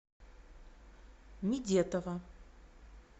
мидетова